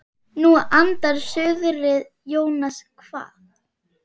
Nú andar suðrið Jónas kvað.